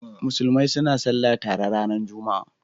Musulmi suna yin Sallah tare ranar Juma'a.